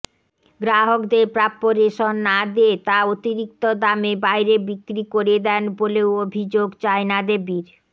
গ্রাহকদের প্রাপ্য রেশন না দিয়ে তা অতিরিক্ত দামে বাইরে বিক্রি করে দেন বলেও অভিযোগ চায়নাদেবীর